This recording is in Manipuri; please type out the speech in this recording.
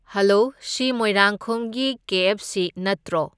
ꯍꯂꯣ , ꯁꯤ ꯃꯣꯏꯔꯥꯡꯈꯣꯝꯒꯤ ꯀꯦ ꯑꯦꯐ ꯁꯤ ꯅꯠꯇ꯭ꯔꯣ?